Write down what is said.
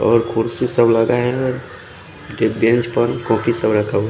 और कुर्सी सब रखा है --